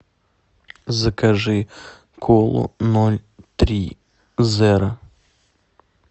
закажи колу ноль три зеро